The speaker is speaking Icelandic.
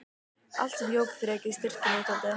Allt sem jók þrekið, styrkinn og úthaldið.